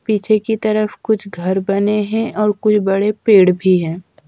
पीछे की तरफ कुछ घर बने हैं और कोई बड़े पेड़ भी हैं।